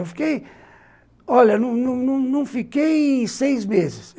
Eu fiquei, olha, não não não não fiquei seis meses.